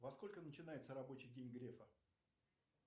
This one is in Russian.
во сколько начинается рабочий день грефа